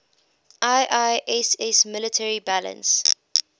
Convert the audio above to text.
iiss military balance